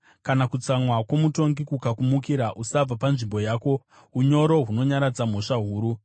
Kana kutsamwa kwomutongi kukakumukira, usabva panzvimbo yako; unyoro hunonyaradza mhosva huru.